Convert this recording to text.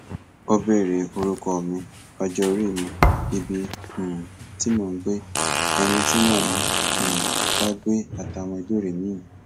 ó béèrè orúkọ mi ọjọorí mi ibi um tí mò ń gbé ẹni tí mò ń um bá gbé àtàwọn ìbéèrè miín